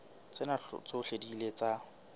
tsena tsohle di ile tsa